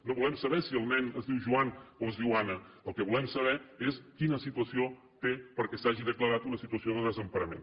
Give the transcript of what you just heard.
no volem saber si el nen es diu joan o es diu anna el que volem saber és quina situació té perquè s’hagi declarat una situació de desemparament